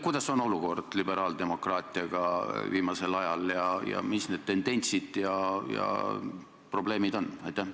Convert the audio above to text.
Milline liberaaldemokraatia olukord viimasel ajal on ja millised on tendentsid ja probleemid?